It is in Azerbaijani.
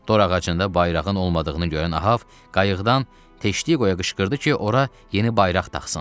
Dorağacında bayrağın olmadığını görən Ahav qayıqdan Teştiyə qışqırdı ki, ora yeni bayraq taxsın.